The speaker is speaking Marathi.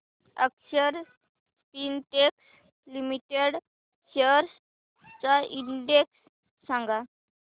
अक्षर स्पिनटेक्स लिमिटेड शेअर्स चा इंडेक्स सांगा